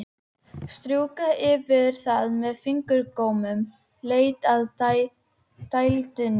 Strjúka yfir það með fingurgómunum, leita að dældinni.